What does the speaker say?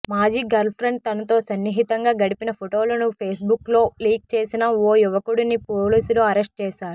మాజీ గర్ల్ఫ్రెండ్ తనతో సన్నిహితంగా గడిపిన ఫోటోలను ఫేస్బుక్లో లీక్ చేసిన ఓ యువకుడిని పోలీసులు అరెస్ట్ చేశారు